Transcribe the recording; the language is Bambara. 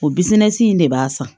O bisiminsi in de b'a san